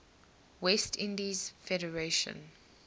west indies federation